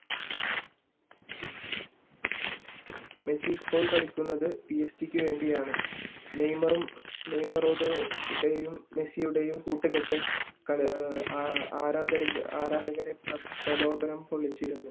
Messi ഇപ്പോൾ കളിക്കുന്നത് വേണ്ടിയാണ് നെയ്മറും റൊണാൾഡയുടെയും മെസ്സിയുടെയും കൂഒറ്റകെട്ട ആരാധകരെ പ്രലോപനം കൊള്ളിച്ചിരുന്നു